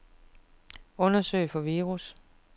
Undersøg for virus.